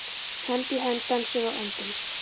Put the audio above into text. Hönd í hönd dönsum við og öndum.